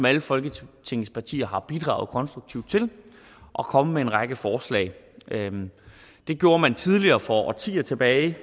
alle folketingets partier har bidraget konstruktivt og kommet med en række forslag det gjorde man tidligere for årtier tilbage